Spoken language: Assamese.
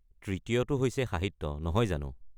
তৃতীয়টো হৈছে সাহিত্য, নহয় জানো?